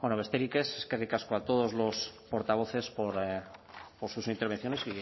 bueno besterik ez eskerrik asko a todos los portavoces por sus intervenciones